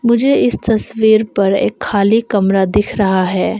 मुझे इस तस्वीर पर एक खाली कमरा दिख रहा है।